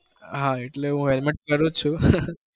હાં એટેલ હું helmet પેરુ છુ